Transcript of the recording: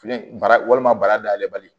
Filen bara walima bara dayɛlɛ bali